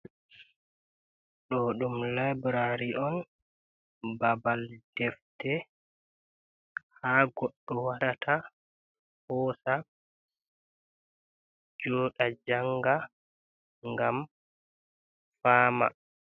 Do ɗum labrari on babal defte ha goɗɗo warata hosa joɗa janga ngam fama.